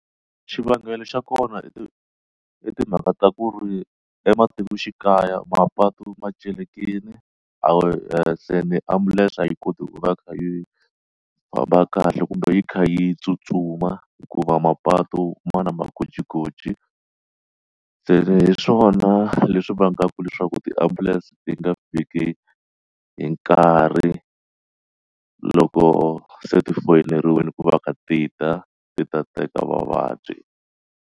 Xivangelo xa kona i ti i timhaka ta ku ri ematikoxikaya mapatu ma tseleka yini a wu yehla ni ambulense a yi koti ku va yi kha yi famba kahle kumbe yi kha yi tsutsuma hikuva mapatu ma na magojigoji se hi swona leswi vangaka leswaku tiambulense ti nga fiki hi nkarhi loko se ti foyineriwini ku va kha ti ta ti ta teka vavabyi.